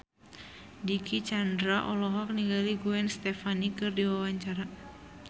Dicky Chandra olohok ningali Gwen Stefani keur diwawancara